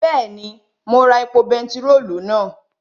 Bẹ́ẹ̀ni, mo ra epo bentiróòlù náà